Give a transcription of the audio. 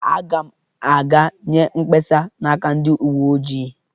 Aga m aga nye kpesa n'aka ndị uwe ojii.